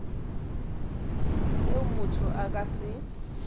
seo motho a ka se